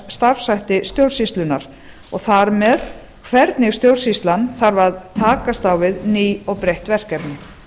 starfshætti stjórnsýslunnar og þar með hvernig stjórnsýslan þarf að takast á við ný og breytt verkefni